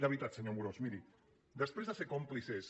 de veritat senyor amorós miri després de ser còmplices